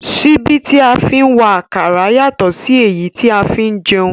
Síbí tí a fi ń wa àkàrà yàtọ̀ sí èyí tí a fi ń jẹun